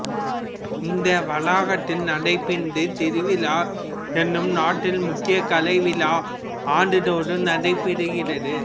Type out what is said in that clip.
இந்த வளாகத்தில் நாட பிந்து திருவிழா எனும் நாட்டில் முக்கிய கலை விழா ஆண்டுதோறும் நடைபெறுகிறது